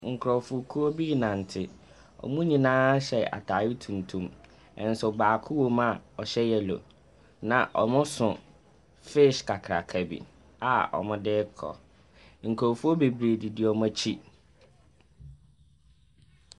Nkurɔfokuo bi ɛrenante, wɔn nyinaa hyɛ ataade tuntum, nso baako wɔm a ɔhyɛ yellow. Na wɔso fish kakraka bi a wɔde ɛrekɔ, nkurɔfoɔ bebree didi wɔn akyi.